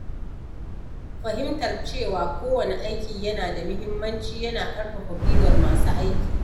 Fahimtar cewa kowanne aiki yana da muhimmanci yana ƙarfafa gwiwar masu aiki.